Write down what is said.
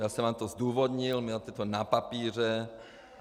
Já jsem vám to zdůvodnil, měl jste to na papíře.